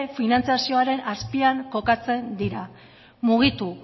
finantzazioaren azpian kokatzen dira mugitu